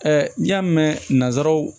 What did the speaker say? n'i y'a mɛn nanzaraw